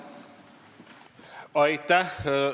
Aitäh!